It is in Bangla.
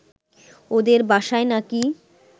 ওদের বাসায় নাকি